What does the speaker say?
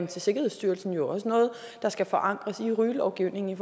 til sikkerhedsstyrelsen jo også noget der skal forankres i rygelovgivningen